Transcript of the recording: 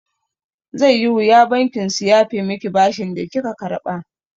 Zai yi wuya bankin su yafe miki bashin da kika karɓa.